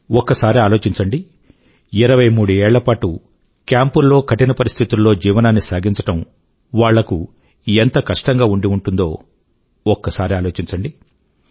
ఒక్కసారి ఆలోచించండి 23 ఏళ్ల పాటు కేంపుల్లో కఠిన పరిస్థితుల్లో జీవనాన్ని సాగించడం వాళ్లకు ఎంత కష్టంగా ఉండి ఉంటుందో ఒక్కసారి ఆలోచించండి